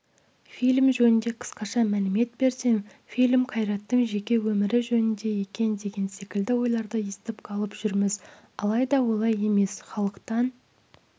фильм жөнінде қысқаша млімет берсем фильм қайраттың жеке өмірі жөнінде екен деген секілді ойларды естіп қалып жүрміз алайда олай емес халықтан